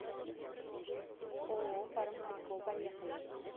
ооо фармсибко поехали